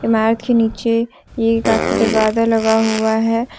अ mat के नीचे ये काफी दरवाजा लगा हुआ है।